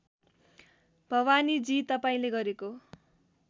भवानीजी तपाईँले गरेको